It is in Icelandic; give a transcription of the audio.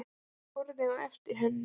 Hann horfði á eftir henni inn.